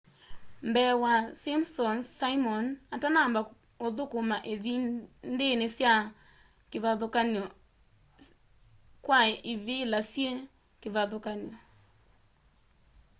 mbee wa simpsons simon atanamba uthukuma ivindini syi kivathukanyo kwa ivila syi kivathukanyo